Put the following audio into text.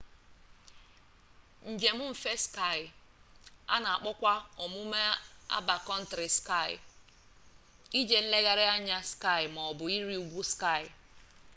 njem mfe ski a na-akpọkwa omume a bakkọntrị ski ije nlegharị anya ski maọbụ ịrị ugwu ski